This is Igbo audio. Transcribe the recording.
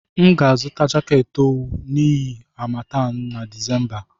M ga-azụta jaket owu n'ihu harmattan na Disemba.